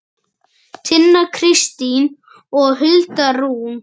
Tinna Kristín og Hulda Rún.